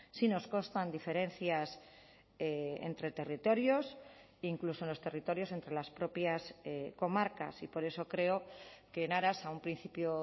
sí nos constan diferencias entre territorios incluso en los territorios entre las propias comarcas y por eso creo que en aras a un principio